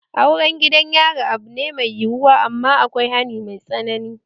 Auren gidan yari abu ne mai yiyuwa amma akwai hani mai tsanani